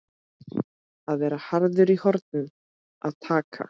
Að vera harður í horn að taka